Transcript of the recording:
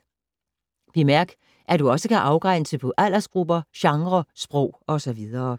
Bemærk, at du også kan afgrænse på aldersgrupper, genrer, sprog osv.